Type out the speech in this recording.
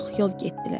Çox yol getdilər.